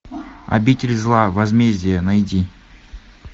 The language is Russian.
обитель зла возмездие найди